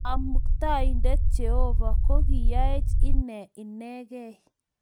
Kamkutaindet Jehovah ko kiyaech ine inegei